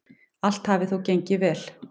Allt hafi þó gengið vel.